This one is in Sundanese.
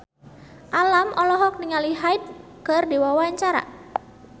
Alam olohok ningali Hyde keur diwawancara